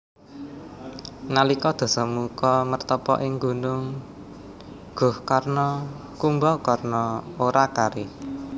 Nalika Dasamuka mertapa ing Gunung Gohkarna Kumbakarna ora kari